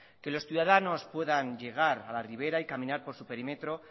que los ciudadanos puedan llegar a la ribera y caminar por su perímetro